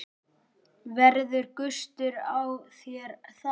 Verður gustur á þér þar?